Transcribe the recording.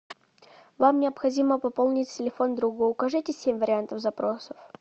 вам необходимо пополнить телефон друга укажите семь вариантов запросов